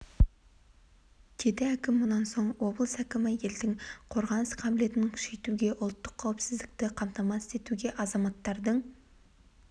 деді әкім мұнан соң облыс әкімі елдің қорғаныс қабілетін күшейтуге ұлттық қауіпсіздікті қамтамасыз етуге азаматтардың